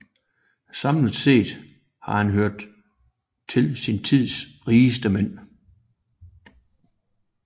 Samlet set har han hørt til sin tids rigeste mænd